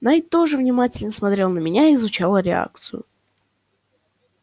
найд тоже внимательно смотрел на меня изучал реакцию